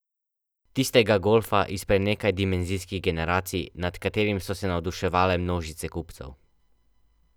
Tistega golfa izpred nekaj dimenzijskih generacij, nad katerim so se navduševale množice kupcev.